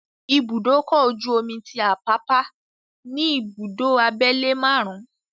Ibùdókọ̀ ojú-omi tí Àpápá ní ìbùdó abẹ́lé márùn-ún,